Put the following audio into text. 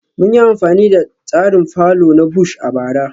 Mun yi amfani da tsarin fallow na Bush a bara